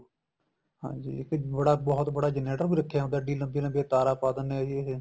ਹਾਂਜੀ ਇੱਕ ਬਹੁਤ ਬੜਾ generator ਵੀ ਰਖਿਆ ਹੁੰਦਾ ਇੱਡੀ ਲੰਬੀ ਲੰਬੀ ਤਾਰਾ ਪਾ ਦੇਨੇ ਏ ਜੀ ਇਹ